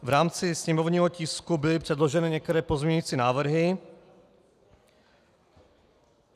V rámci sněmovního tisku byly předloženy některé pozměňovací návrhy.